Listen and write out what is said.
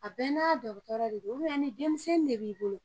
A bɛɛ n'a dɔgɔtɔrɔ de don ni denmisɛnnin de b'i bolo